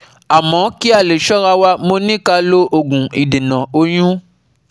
Amo ki a le sora wa, mo ni ka lo ogun idena oyun